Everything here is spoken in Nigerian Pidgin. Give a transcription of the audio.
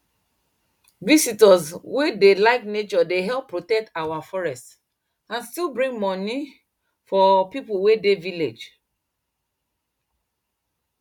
visitors wey dey like nature dey help protect our forest and still bring money for people wey dey village